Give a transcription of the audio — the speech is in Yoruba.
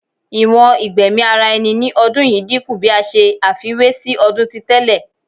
Iwọn igbẹmi ara ẹni ni ọdun yii dinku bi a ṣe àfiwé si ọdun ti tẹlẹ